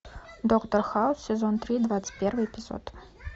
доктор хаус сезон три двадцать первый эпизод